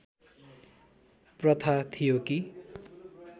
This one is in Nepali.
प्रथा थियो कि